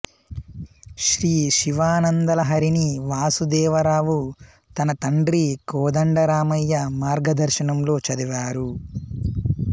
శ్రీ శివానందలహరిని వాసుదేవరావు తన తండ్రి కోదండరామయ్య మార్గదర్శనంలో చదివారు